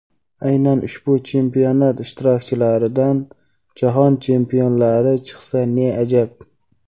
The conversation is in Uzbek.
aynan ushbu chempionat ishtirokchilaridan jahon chempionlari chiqsa ne ajab.